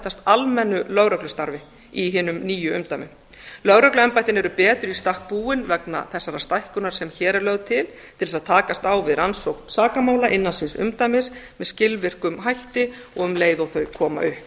samþættast almennu lögreglustarfi í hinum nýju umdæmum lögregluembættin eru betur í stakk búin vegna þessarar stækkunar sem hér er lögð til til þess að takast á við rannsókn sakamála innan síns umdæmis með skilvirkum hætti og um leið og þau koma